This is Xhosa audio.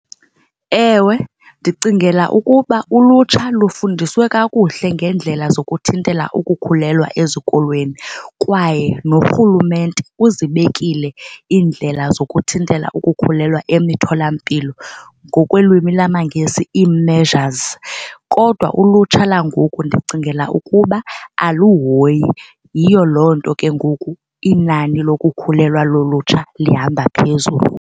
Ewe, ndicingela ukuba ulutsha lufundiswe kakuhle ngeendlela zokuthintela ukukhulelwa ezikolweni kwaye noRhulumente uzibekile iindlela zokuthintela ukukhulelwa emitholampilo ngokwelwimi lamaNgesi ii-measures. Kodwa ulutsha langoku ndicingela ukuba aluhoyi. Yiyo loo nto ke ngoku inani lokukhulelwa lolutsha lihamba phezulu.